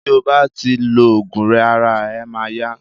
ti o bá ti lo ògùn rẹ ara e ma ya